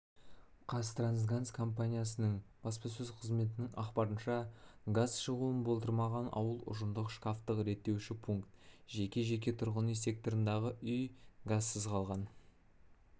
қазтрансгаз компаниясының баспасөз қызметінің ақпарынша газ шығуын болдырмаған ауыл ұжымдық шкафтық реттеуші пункт жеке жеке тұрғын үй секторындағы үй газсыз қалған